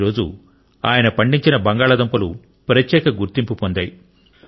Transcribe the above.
ఈరోజు ఆయన పండించిన బంగాళాదుంపలు ప్రత్యేక గుర్తింపు పొందాయి